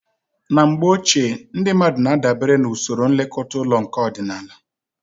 Na mgbe ochie, ndị mmadụ na-adabere na usoro nlekọta ụlọ nke ọdịnala